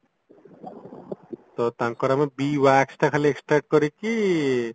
ତ ତାଙ୍କର ଆମେ ବି wax ଖାଲି extract କରିକି